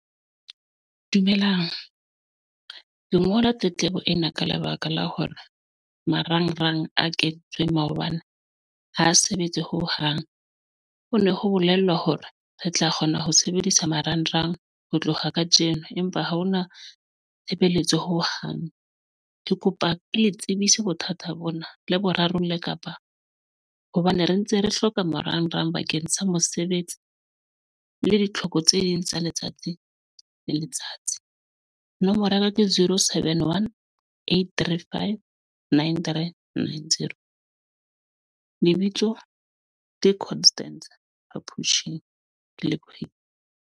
Dumelang lengolo la tletlebo ena ka lebaka la hore marangrang a kentsweng maobane ha sebetse hohang, ho ne ho bolellwa hore re tla kgona ho sebedisa marangrang ho tloha ka tjena, empa ha hona tshebeletso. Ho hang ke kopa ke le tsebise bothata bona le borarong le kapa hobane re ntse re hloka marangrang bakeng sa mosebetsi le ditlhoko tse ding tsa letsatsi le letsatsi. Nomoro ya ka ke zero seven, One, eight, three, five, nine, threen nine zero lebitso ke Constance ke lebohile.